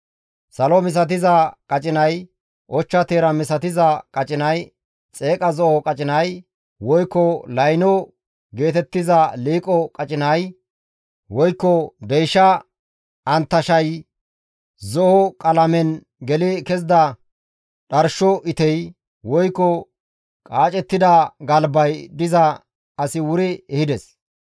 Salo misatiza qacinay, ochcha teera misatiza qacinay, xeeqa zo7o qacinay, woykko layno geetettiza liiqo qacinay, woykko deysha anttashayay, zo7o qalamen geli kezida dharsho itey, woykko qaacettida galbay diza asi wuri ehides.